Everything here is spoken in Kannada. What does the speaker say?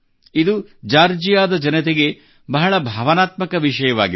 ಇದು ಜಾರ್ಜಿಯಾದ ಜನತೆಗೆ ಬಹಳ ಭಾವನಾತ್ಮಕ ವಿಷಯವಾಗಿದೆ